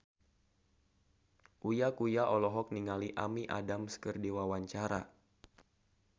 Uya Kuya olohok ningali Amy Adams keur diwawancara